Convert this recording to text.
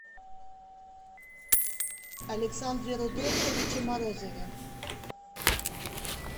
александре рудольфовиче морозове